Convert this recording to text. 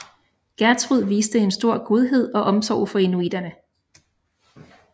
Gjertrud viste en stor godhed og omsorg for inuitterne